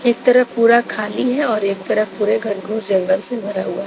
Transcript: एक तरफ पूरा खाली है और एक तरफ पूरे घनघोर जंगल से भरा हुआ।